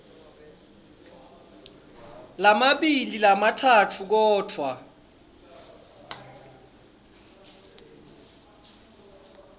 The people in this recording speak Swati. lamabili lamatsatfu kodvwa